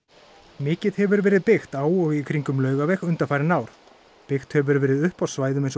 mikið hefur verið byggt á og í kringum Laugaveg undanfarin ár byggt hefur verið upp á svæðum eins og